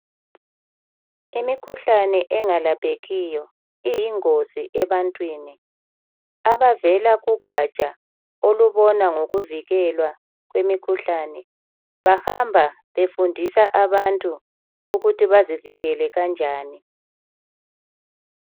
Imikhuhlane engalaphekiyo iyingozi ebantwini abavela kugatsha olubona ngokuvikelwa komkhuhlane bahamba befundisa abantu ukuthi bazivikele kanjani